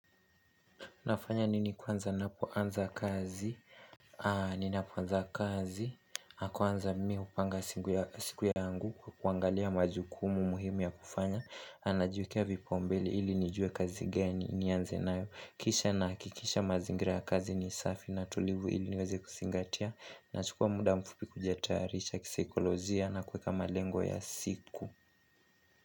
Nafanya nini kwanza napoanza kazi, ninapoanza kazi, kwanza mimi hupanga siku yangu kwa kuangalia majukumu muhimu ya kufanya, najiwekea vipaombele ili nijue kazi gani nianze nayo, kisha nahakikisha mazingira kazi ni safi na tulivu ili niweze kuzingatia, nachukua muda mfupi kujetarisha kisaikolozia na kueka malengo ya siku.